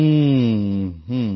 হুম হুম